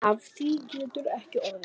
Af því getur ekki orðið.